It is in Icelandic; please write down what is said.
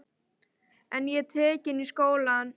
En ég var tekin í skólann.